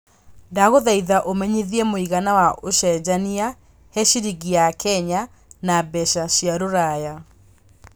ndagũthaĩtha ũmenyĩthie mũigana wa ũcenjanĩa he ciringi ya Kenya na mbeca cia rũraya